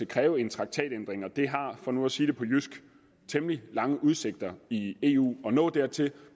kræve en traktatændring og det har for nu at sige det på jysk temmelig lange udsigter i eu at nå dertil